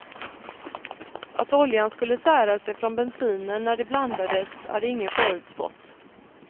Att oljan skulle sära sig från bensinen när de blandades hade ingen förutspått.